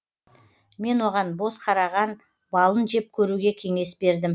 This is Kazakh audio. мен оған боз қараған балын жеп көруге кеңес бердім